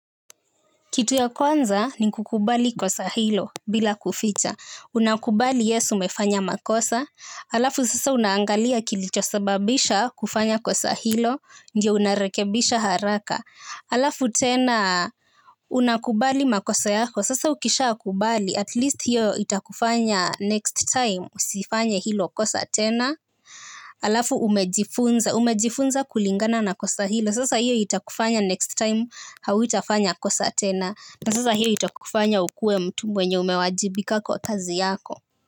Kitu ya kwanza ni kukubali kosa hilo bila kuficha. Unakubali yes umefanya makosa. Alafu sasa unaangalia kilichosababisha kufanya kosa hilo. Ndiyo unarekebisha haraka. Alafu tena unakubali makosa yako. Sasa ukishakubali. At least hiyo itakufanya next time usifanye hilo kosa tena. Alafu umejifunza. Umejifunza kulingana na kosa hilo. Sasa hiyo itakufanya next time hautafanya kosa tena. Na sasa hio itakufanya ukue mtu mwenye umewajibika kwa kazi yako.